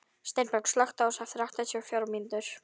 Steinborg, slökktu á þessu eftir áttatíu og fjórar mínútur.